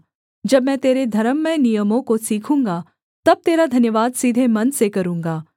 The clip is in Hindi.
जब मैं तेरे धर्ममय नियमों को सीखूँगा तब तेरा धन्यवाद सीधे मन से करूँगा